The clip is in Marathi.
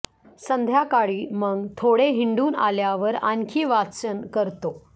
संध्याकाळी मग थोडे हिंडून आल्यावर आणखी वाचन करतो